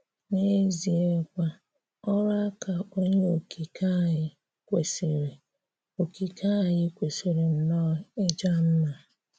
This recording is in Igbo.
N’ezìekwà, ọrụ̀ àka Onyé Okike anyị kwesịrị̀ Okike anyị kwesịrị̀ nnọọ̀ ịja mma.